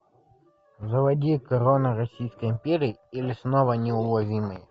заводи корона российской империи или снова неуловимые